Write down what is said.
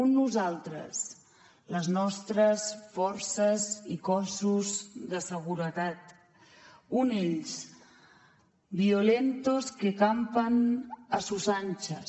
un nosaltres les nostres forces i cossos de seguretat un ells violentos que campan a sus anchas